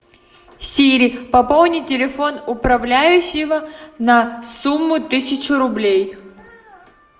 сири пополни телефон управляющего на сумму тысяча рублей